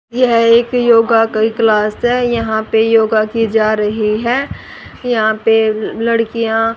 यह एक योगा की क्लास है यहां पे योगा की जा रही है यहां पे लड़कियां--